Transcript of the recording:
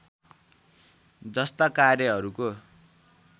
जस्ता कार्यहरूको